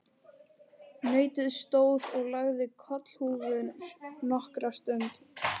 Nautið stóð og lagði kollhúfur nokkra stund.